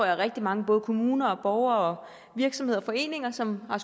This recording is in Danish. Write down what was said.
rigtig mange både kommuner og borgere og virksomheder og foreninger som har